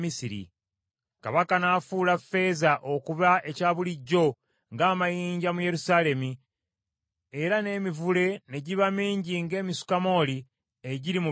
Kabaka n’afuula ffeeza okuba ekya bulijjo ng’amayinja mu Yerusaalemi era n’emivule ne giba mingi ng’emisukamooli egiri mu biwonvu.